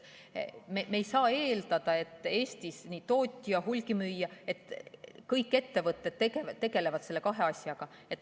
Me ei saa eeldada, et Eestis kõik ettevõtted tegelevad nende asjaga.